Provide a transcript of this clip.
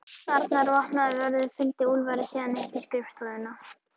Annar vopnaður vörður fylgdi Úlfari síðan upp í skrifstofuna.